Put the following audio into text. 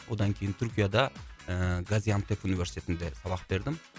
одан кейін түркияда ііі газиантеп университетінде сабақ бердім